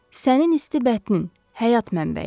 Sənin isti bətnin – həyat mənbəyi.